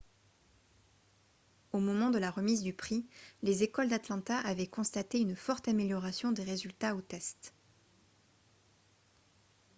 au moment de la remise du prix les écoles d'atlanta avaient constaté une forte amélioration des résultats aux tests